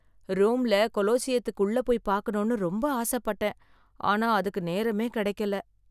ரோம்ல கொலோசியத்துக்கு உள்ள போய் பாக்கனும்னு ரொம்ப ஆசைப்பட்டேன், ஆனா அதுக்கு நேரமே கிடைக்கலை.